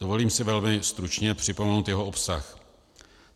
Dovolím si velmi stručně připomenout jeho obsah.